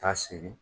Taa sigi